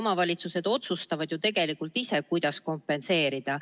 Omavalitsused otsustavad ju tegelikult ise, kuidas kompenseerida.